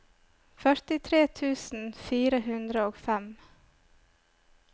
førtitre tusen fire hundre og fem